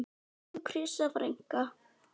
Elsku Krissa frænka.